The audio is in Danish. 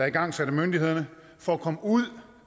igangsat af myndighederne for at komme ud